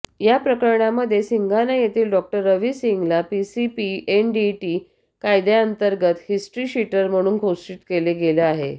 या प्रकरणामध्ये सिंघाना येथील डॉक्टर रवि सिंहला पीसीपीएनडीटी कायद्यातंर्गत हिस्ट्रीशीटर म्हणून घोषित केलं गेलं आहे